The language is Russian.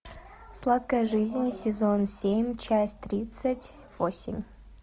сладкая жизнь сезон семь часть тридцать восемь